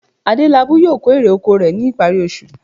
Adélabú yóò kó èrè oko rẹ̀ ní ìparí oṣù